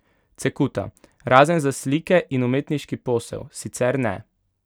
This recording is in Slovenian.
Cekuta: "Razen za slike in umetniški posel, sicer ne.